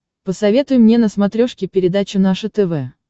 посоветуй мне на смотрешке передачу наше тв